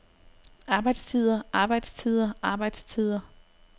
arbejdstider arbejdstider arbejdstider